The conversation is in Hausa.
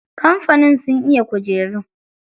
Kamfanin sun iya kujeru.